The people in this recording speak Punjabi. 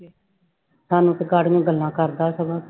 ਸਾਨੂੰ ਤੇ ਗੱਲਾਂ ਕਰਦਾ ਸਗੋਂ,